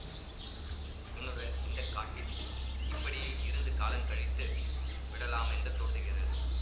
உன்னுடன் இந்த காட்டில் இப்படியே இருந்து காலங்கழித்து விடலாமென்று தோன்றுகிறது